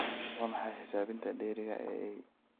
waa maxay xisaabinta dheeriga ah ee y